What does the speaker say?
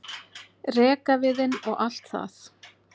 rekaviðinn og allt það.